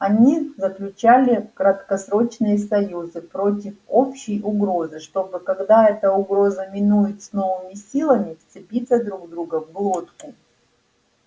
они заключали краткосрочные союзы против общей угрозы чтобы когда эта угроза минует с новыми силами вцепиться друг другу в глотку